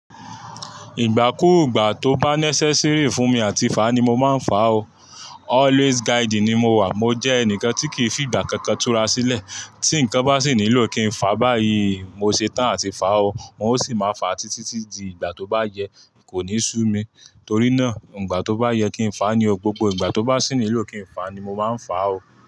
Ìgbà kú ìgbà tí ó bá necessary fún mi láti fà ní mo máa ń fà ó Always guiding ni mo wà. Mo jẹ ẹnìkan tí kì í fi ìgbà kan kan tú ra sílẹ̀ tí nǹkan bá sì nílò kí n fà báyìí, mo ṣetán àti fà ó. N ó sì máa fà á títí di ìgbà tó bá yẹ kò ní sú mi. Torí náà, ìgbà tó bá yẹ kí n fà á ni o. Gbogbo ìgbà tó bá sì nílò kí n fà á ni mo máa ń fà á o.